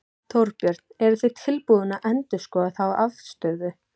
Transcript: Þorbjörn: Eruð þið tilbúnir að endurskoða þá afstöðu?